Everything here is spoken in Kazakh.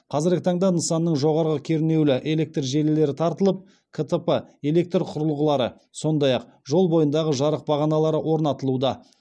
қазіргі таңда нысанның жоғарғы кернеулі электр желілері тартылып ктп электр құрылғылары сондай ақ жол бойындағы жарық бағаналары орнатылуда